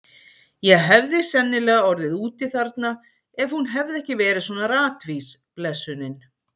Ég hefði sennilega orðið úti þarna ef hún hefði ekki verið svona ratvís, blessunin.